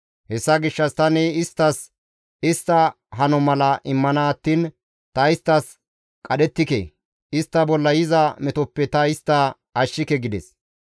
Hessa gishshas tani isttas istta hano mala immana attiin ta isttas qadhettike; istta bolla yiza metoppe ta istta ashshike» gides.